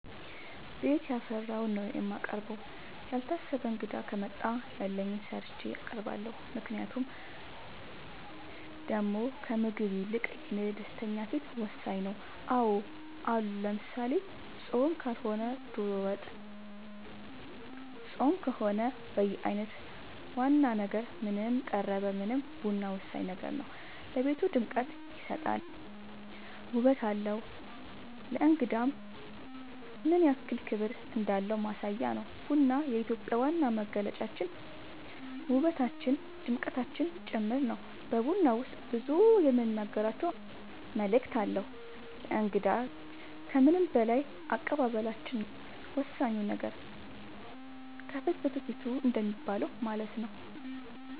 ቤት ያፈራውን ነው የማቀርበው ያልታሰበ እንግዳ ከመጣ ያለኝን ሰርቼ አቀርባለሁ ምክንያቱም ደሞ ከምግቡ ይልቅ የኔ ደስተኛ ፊት ወሳኝ ነው አዎ አሉ ለምሳሌ ፆም ካልሆነ ዶሮ ወጥ ፆም ከሆነ በየአይነት ዋና ነገር ምንም ቀረበ ምንም ቡና ወሳኝ ነገር ነው ለቤቱ ድምቀት ይሰጣል ውበት አለው ለእንግዳም ምንያክል ክብር እንዳለን ማሳያ ነው ቡና የኢትዮጵያ ዋና መገለጫችን ውበታችን ድምቀታችን ጭምር ነው በቡና ውስጥ ብዙ የምንናገራቸው መልዕክት አለው ለእንግዳ ግን ከምንም በላይ አቀባበላችን ነው ወሳኙ ነገር ከፍትፍቱ ፊቱ እንደሚባለው ማለት ነው